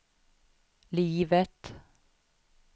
livet